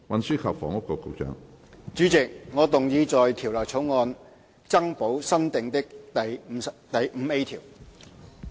主席，我動議在條例草案增補新訂的第 5A 條。